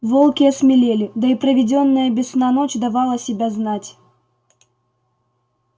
волки осмелели да и проведённая без сна ночь давала себя знать